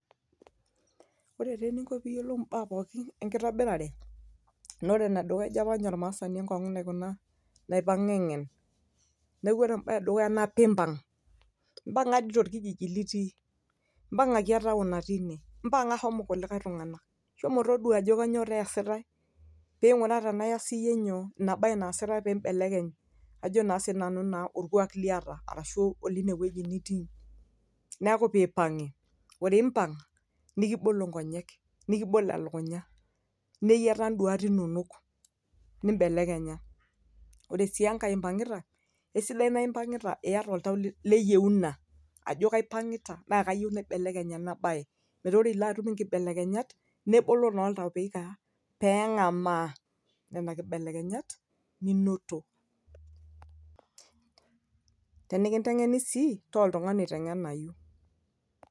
Ore teninko piyiolou imbaa pookin enkitobirare, na ore enedukuya ejo apa nye ormaasani enkong'ong'u naikuna, naipang'a eng'en. Neeku ore ebae edukuya naa, pimbang'. Mpang'a di tolkijiji litii. Mpang'ang'i taon natii ine. Mpang'a shomo kulikae tung'anak. Shomo todua ajo kanyioo teesitae, ping'uraa tenaa iyas iyie nyoo, inabae naasitai pibelekeny ajo naa sinanu naa orkuak liata, arashu olinewueji nitii. Neeku pipang'i. Ore pimpang',nikibolo ngonyek. Nikibolo elukunya. Neyiata iduat inonok. Nibelekenya. Ore sii enkae impang'ita, kesidai na impang'ita iyata oltau leyieuna, ajo kaipang'ita na kayieu naibelekeny ena bae. Metaa ore ilo atum inkibelekenyat, nebolo naa oltau peikaa, peeng'amaa, nena kibelekenyat, ninoto. Tenikinteng'eni sii, taa oltung'ani oite ng'enayu.